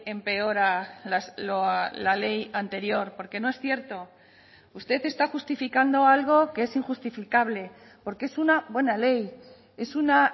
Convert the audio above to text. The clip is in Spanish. empeora la ley anterior porque no es cierto usted está justificando algo que es injustificable porque es una buena ley es una